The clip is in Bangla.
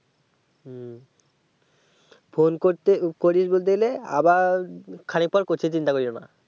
হুম phone করতে করিস বলতে গেলে আবার খানিক পর করছি চিন্তা করিওনা আর